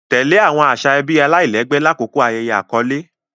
Tẹle awọn aṣa ẹbi alailẹgbẹ lakoko ayẹyẹ akọle.